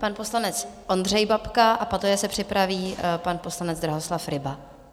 Pan poslanec Ondřej Babka a poté se připraví pan poslanec Drahoslav Ryba.